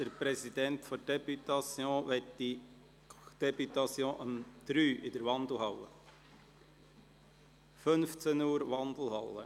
Der Präsident der Députation möchte die Députation um 15 Uhr in der Wandelhalle treffen.